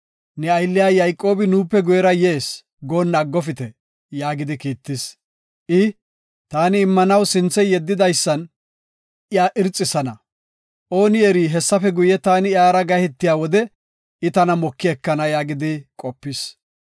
‘Ne aylliya Yayqoobi nuupe guyera yees’ goonna aggofite” yaagidi kiittis. I, “Taani immanaw sinthe yeddidaysan iya irxisana. Ooni eri hessafe guye taani iyara gahetiya wode I tana moki ekana” yaagidi qopis.